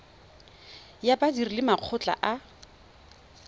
ya badiri le makgotla a